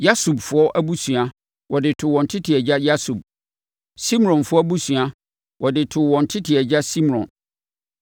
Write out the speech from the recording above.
Yasubfoɔ abusua, wɔde too wɔn tete agya Yasub. Simronfoɔ abusua, wɔde too wɔn tete agya Simron.